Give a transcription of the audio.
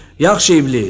Yaxşı İblis!